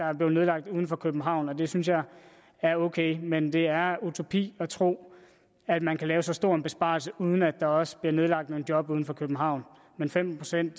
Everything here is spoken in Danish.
er blevet nedlagt uden for københavn det synes jeg er ok men det er utopi at tro at man kan lave så stor en besparelse uden at der også bliver nedlagt nogle job uden for københavn men femten procent